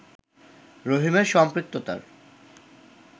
রহিমের সম্পৃক্ততার